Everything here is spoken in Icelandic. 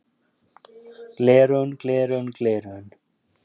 Gleraugun gleraugun gleraugun.